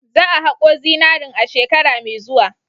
Za a hako zinaren a shekara mai zuwa.